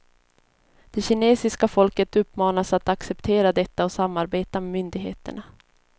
Det kinesiska folket uppmanas att acceptera detta och samarbeta med myndigheterna.